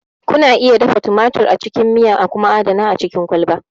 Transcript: Kuna iya dafa tumatir a cikin miya a kuma adana a cikin kwalba.